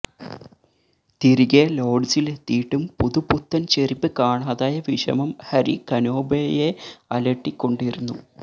തിരികെ ലോഡ്ജിലെത്തിയിട്ടും പുതു പുത്തന് ചെരിപ്പ് കാണാതായ വിഷമം ഹരി കനോബയെഅലട്ടിക്കൊണ്ടിരുന്നു